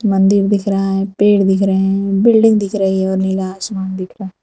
मंदिर दिख रहा है पेड़ दिख रहे है बिल्डिंग दिख रही है और नीला आसमान दिख रहा --